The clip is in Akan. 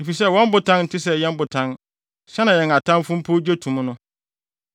Efisɛ wɔn botan nte sɛ yɛn Botan, sɛnea yɛn atamfo mpo gye to mu no.